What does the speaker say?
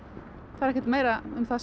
það er ekkert meira um það